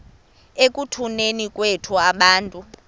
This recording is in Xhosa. ekutuneni kwethu abantu